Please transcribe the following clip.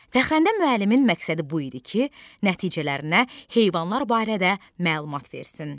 Fəxrəndə müəllimin məqsədi bu idi ki, nəticələrinə heyvanlar barədə məlumat versin.